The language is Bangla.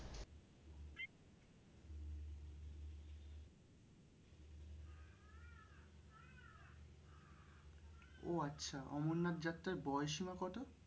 ও আচ্ছা অমরনাথ যাত্রার বয়সসীমা কত?